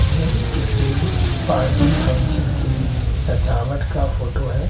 यह किसी party function की सजावट का फोटो है।